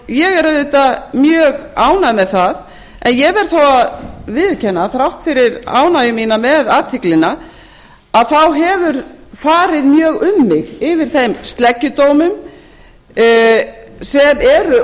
ég er auðvitað mjög ánægð með það en ég verð þó að viðurkenna þrátt fyrir ánægju mína með athyglina þá hefur mjög farið mjög um mig yfir þeim sleggjudómum sem eru